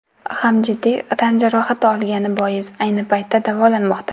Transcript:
ham jiddiy tan jarohati olgani bois, ayni paytda davolanmoqda.